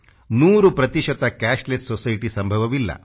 ನೂರು ಪ್ರತಿಶತ cashless society ಸಂಭವವಿಲ್ಲ